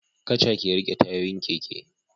Kaca ke rike tayoyin keke